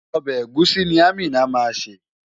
Ọbẹ̀ ẹ̀gúsí ni Amina máa ṣè.